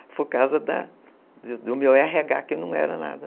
Foi por causa do meu erre agár, que não era nada.